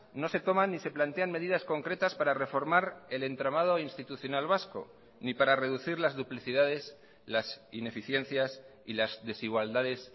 no se toman ni se plantean medidas concretas para reformar el entramado institucional vasco ni para reducir las duplicidades las ineficiencias y las desigualdades